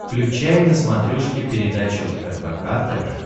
включай на смотрешке передачу рбк тв